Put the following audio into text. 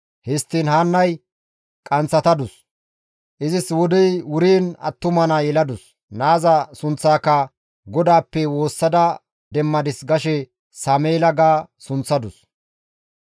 Histtiin Haannay qanththatadus; izis wodey wuriin attuma naa yeladus; naaza sunththaaka, «GODAAPPE woossada demmadis gashe Sameela» ga sunththadus.